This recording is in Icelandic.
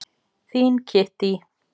Þín Kittý.